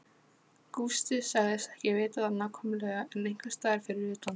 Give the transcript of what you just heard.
Gústi sagðist ekki vita það nákvæmlega en einhversstaðar fyrir utan